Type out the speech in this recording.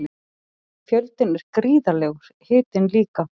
Fjöldinn er gríðarlegur, hitinn líka.